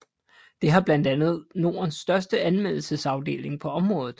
Det har blandt andet Nordens største anmeldelsesafdeling på området